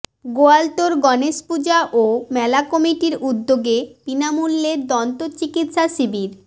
গোয়ালতোড় গণেশ পূজা ও মেলা কমিটির উদ্দগে বিনামূল্যে দন্ত চিকিৎসা শিবির